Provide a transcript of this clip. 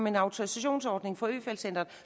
en autorisationsordning